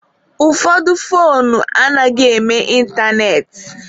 Ụfọdụ foonu anaghị eme ịntanetị.